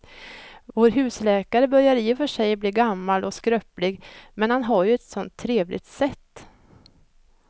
Vår husläkare börjar i och för sig bli gammal och skröplig, men han har ju ett sådant trevligt sätt!